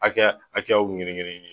Hakɛya hakɛyaw